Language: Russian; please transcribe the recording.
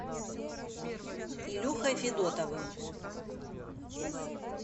илюхой федотовым